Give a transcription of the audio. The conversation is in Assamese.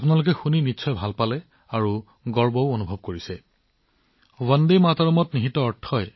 বন্ধুসকল আপুনি নিশ্চয় ভাবিছে যে এই ধুনীয়া ভিডিঅটো কোন দেশৰ উত্তৰটোৱে আপোনাক আচৰিত কৰি তুলিব